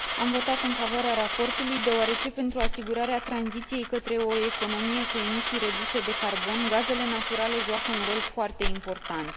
Am votat în favoarea raportului, deoarece, pentru asigurarea tranziției către o economie cu emisii reduse de carbon, gazele naturale joacă un rol foarte important.